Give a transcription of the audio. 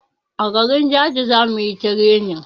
A garin jaji zamuyi tirenin